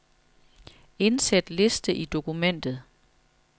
Indsæt liste i dokumentet.